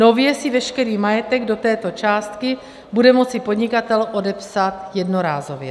Nově si veškerý majetek do této částky bude moci podnikatel odepsat jednorázově.